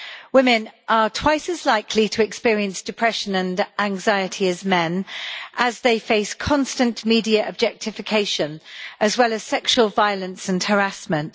Women are twice as likely to experience depression and anxiety as men as they face constant media objectification, as well as sexual violence and harassment.